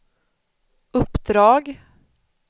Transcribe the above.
uppdrag